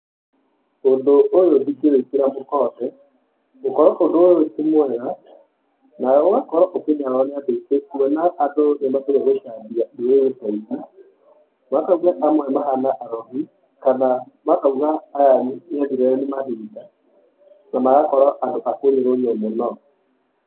Ũndũ ũyũ ndingĩwĩkĩra mũkonde, gũkorwo ũndũ ũyũ ti mwega, na ũgakorwo ũkĩnyararwo nĩ andũ aingĩ kuona andũ nimendire gũcambia ndũrĩrĩ ta ici, makauga amwe mahana arogi kana makauga aya ni egĩrĩre nĩ mahinda, na magakorwo andũ a kũnyũrũrio mũno.